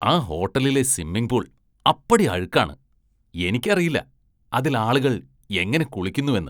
ആ ഹോട്ടലിലെ സ്വിമ്മിങ്പൂള്‍ അപ്പടി അഴുക്കാണ്, എനിക്കറിയില്ല, അതില്‍ ആളുകള്‍ എങ്ങനെ കുളിക്കുന്നുവെന്ന്